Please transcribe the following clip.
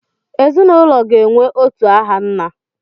Ezinụlọ ga-enwe otu aha nna.